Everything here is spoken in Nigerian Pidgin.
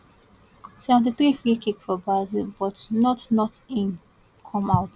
seventy three freekick for brazil but not not in come out